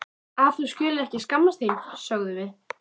Að þú skulir ekki skammast þín, sögðum við.